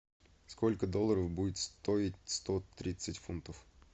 сколько долларов будет стоить сто тридцать фунтов